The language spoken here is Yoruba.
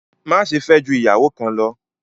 Má ṣe fẹ jù ìyàwó kan ló!